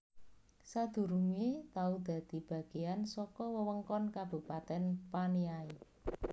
Sadurungé tau dadi bagéyan saka wewengkon Kabupatèn Paniai